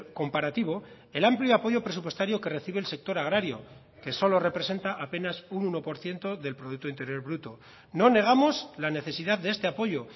comparativo el amplio apoyo presupuestario que recibe el sector agrario que solo representa apenas un uno por ciento del producto interior bruto no negamos la necesidad de este apoyo